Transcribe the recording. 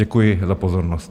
Děkuji za pozornost.